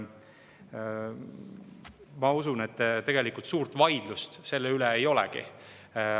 Ma usun, et suurt vaidlust selle üle ei olegi.